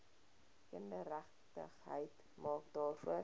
kindergeregtigheid maak daarvoor